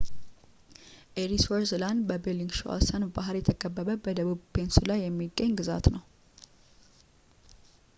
ኤሪስወርዝ ላንድ በ ቤሊንግሿሰን ባህር የተከበበ በደቡብ ፔኑንስላ የሚገኝ ግዛት ነው